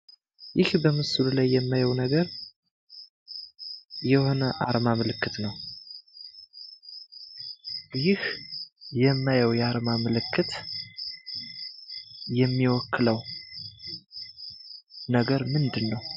ይህ በምስሉ ላይ የማየው ነገር የሆነ አርማ ምልክት ነው። ይህ የማየው የአርማ ምልክት የሚወክለው ነገር ምንድን ነው?